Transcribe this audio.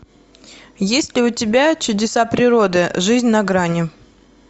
есть ли у тебя чудеса природы жизнь на грани